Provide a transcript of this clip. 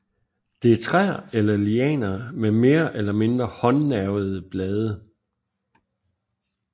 Det er træer eller lianer med mere eller mindre håndnervede blade